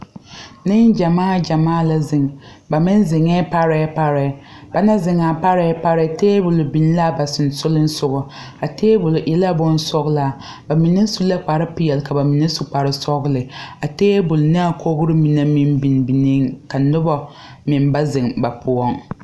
Ne gyamaa gyamaa la zeŋ. Ba meŋ zeŋe pareɛ pareɛ. Ba naŋ zeŋ a pareɛ, pareɛ tabul biŋ la a ba susuleŋsɔgo. A tabul e la boŋ sɔglaa. Ba mene su la kpar piɛle, ka ba mene su kpar sɔgle. A tabul ne a kogre mene meŋ biŋ biŋeɛ. Ka noba meŋ ba zeŋ ba poʊŋ